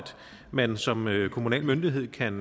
man som kommunal myndighed kan